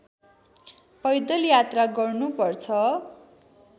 पैदल यात्रा गर्नुपर्छ